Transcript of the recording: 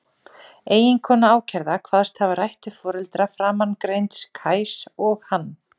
Eiginkona ákærða kvaðst hafa rætt við foreldra framangreinds Kajs og hann.